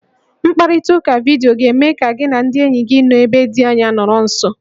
Mkparịtaụka vidiyo ga-eme ka gị na ndị enyi gị nọ ebe dị anya nọrọ nso